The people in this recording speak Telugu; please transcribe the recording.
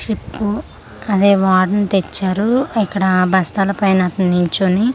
షిప్పు అదే వారని తెచ్చారు ఇక్కడ బస్తాల పైన నించొని--